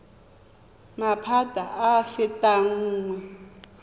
maphata a a fetang nngwe